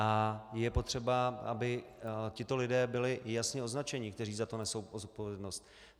A je potřeba, aby tito lidé byli jasně označeni, kteří za to nesou zodpovědnost.